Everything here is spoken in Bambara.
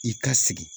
I ka sigi